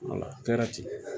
A kɛra ten